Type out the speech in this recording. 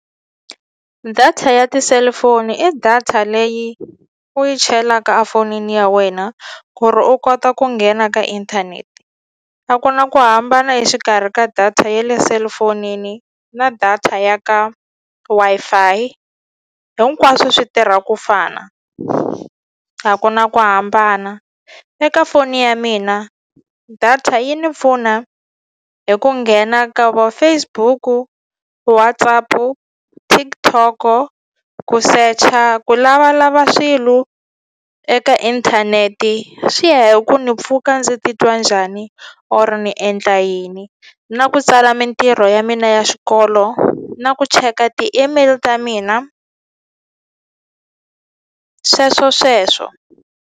Data ya ti-cellphone i data leyi u yi chelaka a fonini ya wena ku ri u kota ku nghena ka inthanete a ku na ku hambana exikarhi ka data ye le cellphone-ni na data ya ka Wi-Fi hinkwaswo swi tirha kufana a ku na ku hambana eka foni ya mina data yi ni pfuna hi ku nghena ka vo Facebook-u, WhatsApp-u TikTok-o ku secha ku lavalava swilo eka inthaneti swi ya hi ku ni pfuka ndzi titwa njhani or ni endla yini na ku tsala mintirho ya mina ya xikolo na ku cheka ti-email ta mina sweswo sweswo.